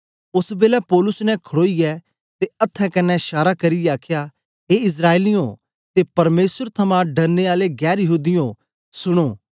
ओस बेलै पौलुस ने खड़ोईयै ते अथ्थें कन्ने शारा करियै आखया ए इस्राएलियें ते परमेसर थमां डरने आलयो गैर यहूदियों सुनो